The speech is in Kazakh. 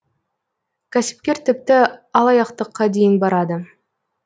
кәсіпкер тіпті алаяқтыққа дейін барады